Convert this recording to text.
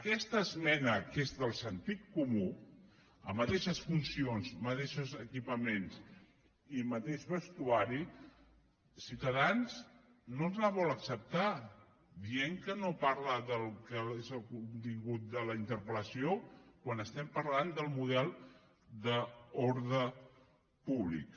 aquesta esmena que és de sentit comú a mateixes funcions mateixos equipaments i mateix vestuari ciutadans no ens la vol acceptar i diu que no parla del que és el contingut de la interpel·lació quan estem parlant del model d’ordre públic